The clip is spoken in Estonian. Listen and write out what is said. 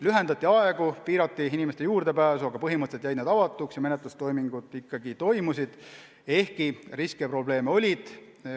Lühendati tööaegu, piirati inimeste juurdepääsu, aga põhimõtteliselt jäid need avatuks ja menetlustoimingud ikkagi toimusid, ehkki riske ja probleeme oli.